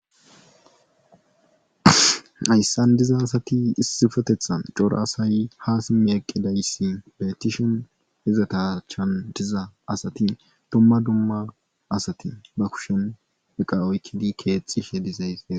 Hassan diza asati issfetethan cora asay haa simmi eqqidayssi beettishin izata achan diza asati dumma dumma asati ba kushen eqa oykkidi keexxishe dizays beete.